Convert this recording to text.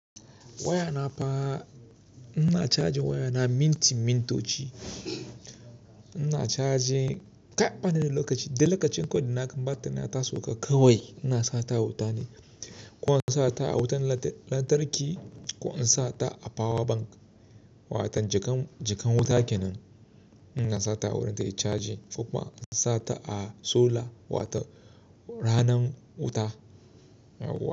Waya na fa ina caji waya na minti mintoci. Ina caji tap, bani da lokaci, duk lokacin kawai da na gan batir na ya ta soka kawai ina sa ta a wuta ne. Ko in sata a wuta lantarki, ko in sata a power bank, wato jakar wuta kenan ina sa ta wurin tayi caji, ko kuma in sa ta a solar wato ranar wuta.